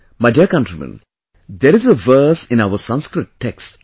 My dear countrymen, there is a verse in our Sanskrit texts